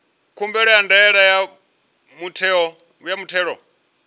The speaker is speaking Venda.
khumbelo ya ndaela ya muthelo